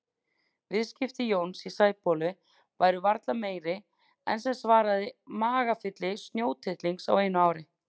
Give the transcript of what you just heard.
Viðskipti Jóns í Sæbóli væru varla meiri en sem svaraði magafylli snjótittlings á einu ári.